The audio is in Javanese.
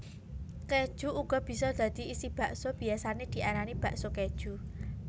Kéju uga bisa dadi isi bakso biyasané diarani bakso kéju